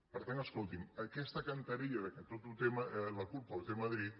per tant escolti’m aquesta cantarella que tota la culpa la té madrid